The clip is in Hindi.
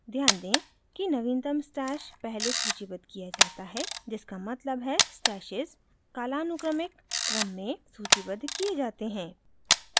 ध्यान दें कि नवीनतम stash पहले सूचीबद्ध किया जाता है जिसका मतलब है stashes कालानुक्रमिक क्रम में सूचीबद्ध किए जाते हैं